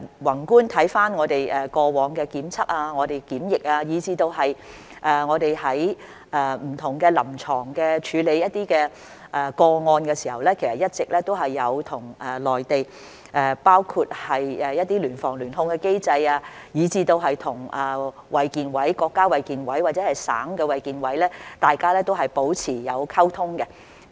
宏觀看我們過往的檢測及檢疫措施，以至我們在處理不同的臨床個案時，一直都有參考內地的一些聯防、聯控的機制，以及與衞生健康委員會，不論是國家衞健委或者省的衞健委，都是保持溝通的。